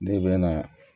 Ne bɛ na